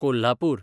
Kolhapur